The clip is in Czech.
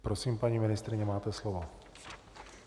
Prosím, paní ministryně, máte slovo.